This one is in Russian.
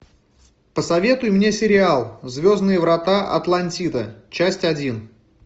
посоветуй мне сериал звездные врата атлантида часть один